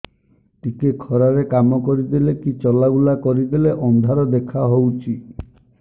ଟିକେ ଖରା ରେ କାମ କରିଦେଲେ କି ଚଲବୁଲା କରିଦେଲେ ଅନ୍ଧାର ଦେଖା ହଉଚି